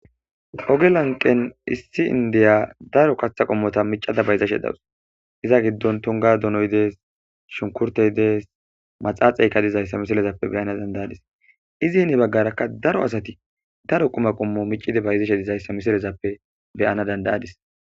Ogelanqen issi indiya daro katha qummota micada bayzashe dawus iza giddon tonga donoy dees shunkurtey dees maxaaxeyka dizayssa misilezappe beyana dandayadis izi hini baggarakka daro asati daro quma qummo micide bayzeshe dizayssa misilezappe beyana dandayadis.